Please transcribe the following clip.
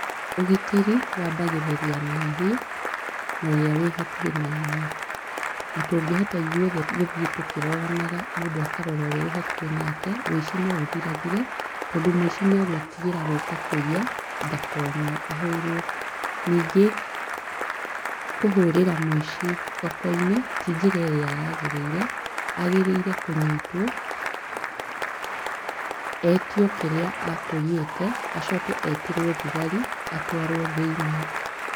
Ũgitĩri wambagĩrĩria naniĩ na ũrĩa wĩ hakuhĩ na niĩ, na tũngĩhota ithuothe gũthie tũkĩroranaga mũndũ akarora ũrĩa wĩ hakuhĩ nake ũici no ũthirathire tondũ mũici nĩagũĩtigĩra gũka kũiya ndakonwo ahũrwo. Ningĩ kũhũrĩra mũici thokoinĩ ti njĩra ĩrĩa yagĩrĩire, agĩrĩire kũnyitwo etio kĩrĩa akũinyĩte acoke etĩrwo thigari atwarwo thĩinĩ.